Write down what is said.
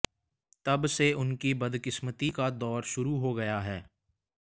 तब से उनकी बदकिस्मती का दौर शुरू हो गया है